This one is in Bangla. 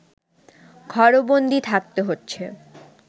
ঘরবন্দি থাকতে হচ্ছে